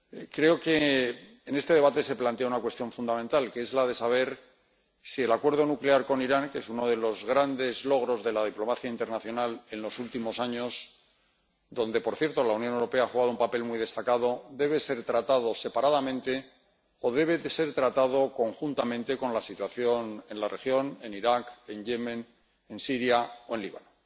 Creo que en este debate se plantea una cuestión fundamental, que es la de saber si el acuerdo nuclear con Irán, que es uno de los grandes logros de la diplomacia internacional en los últimos años, en el que, por cierto, la Unión Europea ha jugado un papel muy destacado, debe ser tratado separadamente o debe ser tratado conjuntamente con la situación en la región, en Irak, en Yemen, en Siria o en Líbano.